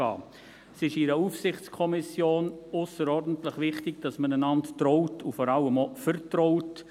In einer Aufsichtskommission ist es ausserordentlich wichtig, dass man einander traut und vertraut.